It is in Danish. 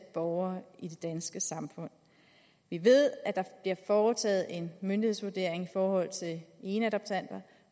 borgere i det danske samfund vi ved at der bliver foretaget en myndighedsvurdering i forhold til eneadoptanter